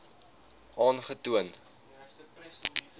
aangetoon